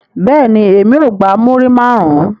Bẹ́ẹ̀ni, emi o gba muri marun